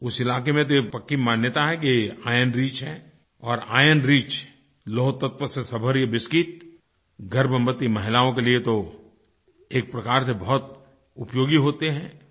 उस इलाके में तो ये बड़ी पक्की मान्यता है कि इरोन रिच है और इरोन रिच लौहतत्व से युक्त ये बिस्किट गर्भवती महिलाओं के लिए तो एक प्रकार से बहुत उपयोगी होते हैं